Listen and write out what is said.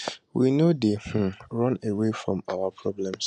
we no dey um run away from our problems